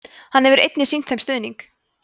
hann hefur einnig sýnt þeim stuðning